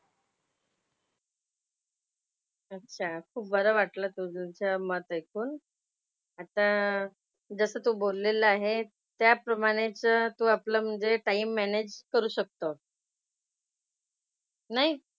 अच्छा. खूप बरं वाटलं तुझं मत ऐकून. आता जसं तू बोललेला आहे त्याप्रमाणेच तू आपलं म्हणजे टाइम मॅनेज करू शकतो. नाही?